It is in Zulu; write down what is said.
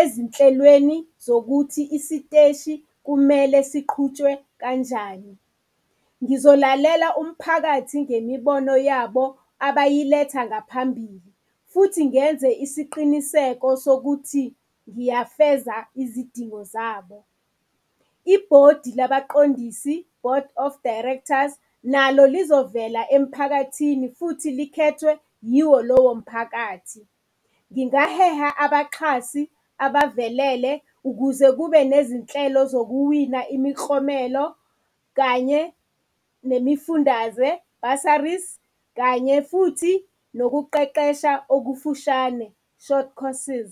ezinhlelweni zokuthi isiteshi kumele siqhutshwe kanjani. Ngizolalela umphakathi ngemibono yabo abayiletha ngaphambili futhi ngenze isiqiniseko sokuthi ngiyafeza izidingo zabo. Ibhodi labaqondisi, board of directors, nalo lizovela emphakathini futhi likhethwe yiwo lowo mphakathi. Ngingaheha abaxhasi abavelele ukuze kube nezinhlelo zokuwina imiklomelo kanye nemifundaze, bursaries, kanye futhi nokuqeqesha okufushane, short courses.